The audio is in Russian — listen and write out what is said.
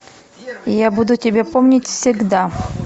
я буду тебя помнить всегда